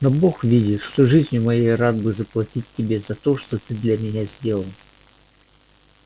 но бог видит что жизнию моей рад бы я заплатить тебе за то что ты для меня сделал